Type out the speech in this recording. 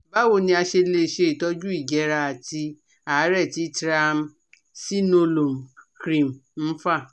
Báwo ni a ṣe lè ṣe itọju ìjẹ́ra àti àárẹ̀ tí Triamcinolone cream ń fà?